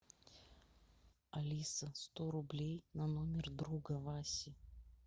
алиса сто рублей на номер друга васи